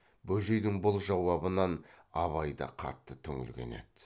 бөжейдің бұл жауабынан абай да қатты түңілген еді